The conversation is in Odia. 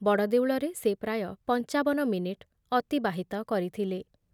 ବଡ଼ଦେଉଳରେ ସେ ପ୍ରାୟ ପଂଚାବନ ମିନିଟ୍ ଅତିବାହିତ କରିଥିଲେ ।